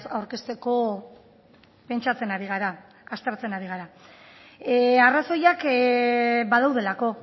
aurkezteko pentsatzen ari gara aztertzen ari gara arrazoiak badaudelako